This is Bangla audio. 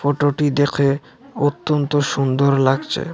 ফটোটি দেখে অত্যন্ত সুন্দর লাগছে।